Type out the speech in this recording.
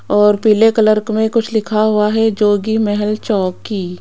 और पीले कलर क में कुछ लिखा हुआ है जोगी महल चौकी --